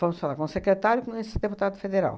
Fomos falar com o secretário e com esse deputado federal.